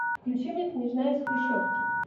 включи мне княжна из хрущевки